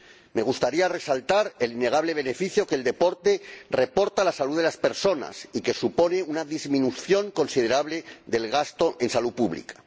Me gustaría resaltar el innegable beneficio que el deporte reporta a la salud de las personas y que supone una disminución considerable del gasto en salud pública.